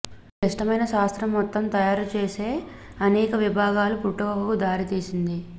ఈ క్లిష్టమైన శాస్త్రం మొత్తం తయారు చేసే అనేక విభాగాలు పుట్టుకకు దారితీసింది